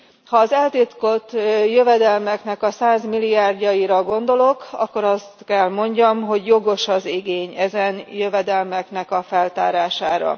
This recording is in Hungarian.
Ha az eltitkolt jövedelmeknek a százmilliárdjaira gondolok, akkor azt kell mondjam, hogy jogos az igény ezen jövedelmeknek a feltárására.